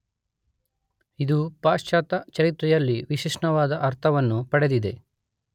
ಇದು ಪಾಶ್ಚಾತ್ಯ ಚರಿತ್ರೆಯಲ್ಲಿ ವಿಶಿಷ್ಟವಾದ ಅರ್ಥವನ್ನು ಪಡೆದಿದೆ.